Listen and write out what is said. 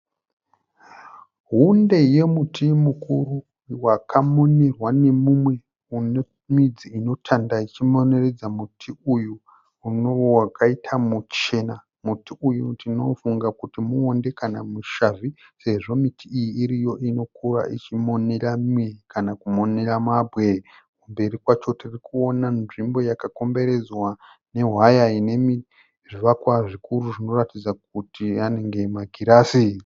Hunde yemuti mukuru wakamonerwa neumwe une midzi inotanda ichimoneredza muti uyu unova wakaita muchena. Muti uyu ndinofunga kuti mushavhi kana muwonde sezvo miti iyi iriyo inokura ichimonera mimwe kana kumonera mabwe. Mberi kwayo tiri kuwona nzvimbo yakakomberedzwa nehwayainezvivakwa zvikuru zvinoratidza kuti anenge makirasi.